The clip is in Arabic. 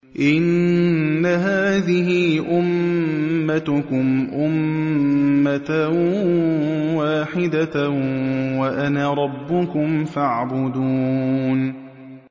إِنَّ هَٰذِهِ أُمَّتُكُمْ أُمَّةً وَاحِدَةً وَأَنَا رَبُّكُمْ فَاعْبُدُونِ